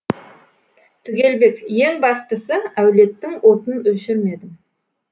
түгелбек ең бастысы әулеттің отын өшірмедім